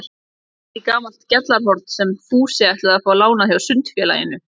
HJÁLP í gamalt gjallarhorn sem Fúsi ætlaði að fá lánað hjá Sundfélaginu.